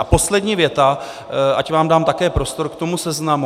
A poslední věta, ať vám dám také prostor k tomu seznamu.